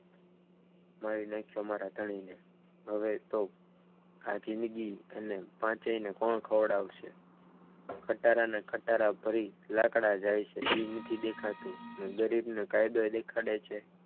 મારી નાખ્યો મારા ધણીને હવે તો આ જિંદગી એ પાંચેયને કોણ ખવડાવશે ખટારાને ખટારા ભરી લાકડા જાય છે એ નથી દેખાતું ને ગરીબને કાયદો ઘડે છે.